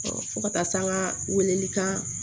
fo ka taa se an ka weleli kan